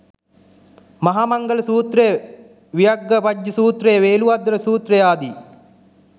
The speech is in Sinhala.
මහා මංගල සූත්‍රය, ව්‍යග්ගපජ්ජ සූත්‍රය, වේළුද්වාර සූත්‍රය ආදී